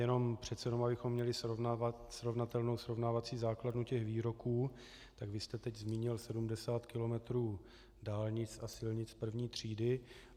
Jenom přece jen abychom měli srovnatelnou srovnávací základnu těch výroků, tak vy jste teď zmínil 70 kilometrů dálnic a silnic první třídy.